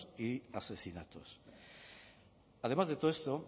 y asesinatos además de todo esto